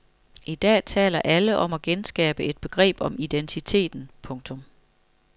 I dag taler alle om at genskabe et begreb om identiteten. punktum